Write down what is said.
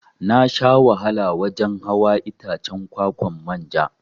Nasha wahala wajan hawa Itacen kwa-kwan manja.